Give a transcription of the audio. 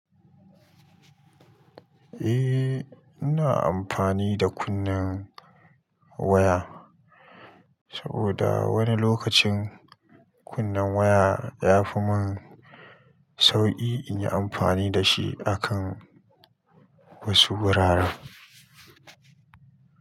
Eh, ina amfani da kunnen waya saboda wani lokacin kunnen waya yafi mun sauki in yi amfani da shi akan wasu wuraren.